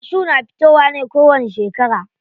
Kashu na fitowa ne kowani shekara.